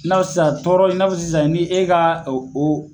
N'aw sisan tɔɔrɔ in n'a fɔ sisan i ni e ka o